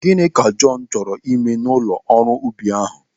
Gịnị ka Jọn chọrọ ime n'ụlọ ọrụ ubi ahụ?